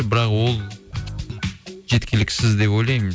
бірақ ол жеткіліксіз деп ойлаймын